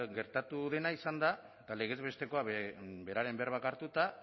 gertatu dena izan da eta legez bestekoa beraren berbak hartuta